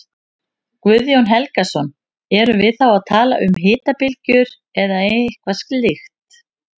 Guðjón Helgason: Erum við þá að tala um hitabylgjur eða eitthvað slíkt?